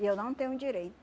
E eu não tenho